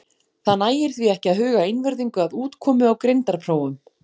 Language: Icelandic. Þar nægir því ekki að huga einvörðungu að útkomu á greindarprófum.